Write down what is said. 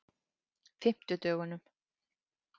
fimmtudögunum